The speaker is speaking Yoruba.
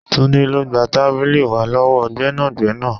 Túndé, lọ gba tábìlì wá lọ́wọ́ gbẹ́nàgbẹ́nà.